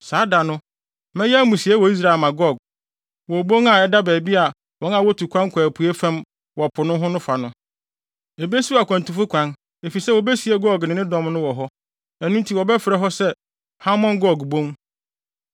“ ‘Saa da no, mɛyɛ amusiei wɔ Israel ama Gog, wɔ obon a ɛda baabi a wɔn a wotu kwan kɔ apuei fam wɔ po no ho no fa no. Ebesiw akwantufo kwan efisɛ wobesie Gog ne ne dɔm no wɔ hɔ. Ɛno nti wɔbɛfrɛ hɔ se Hamon Gog bon.